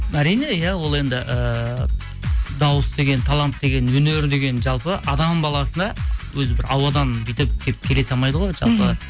әрине иә ол енді ііі дауыс деген талант деген өнер деген жалпы адам баласына өзі бір ауадан бүйтіп келіп келе салмайды ғой мхм жалпы